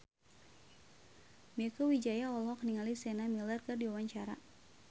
Mieke Wijaya olohok ningali Sienna Miller keur diwawancara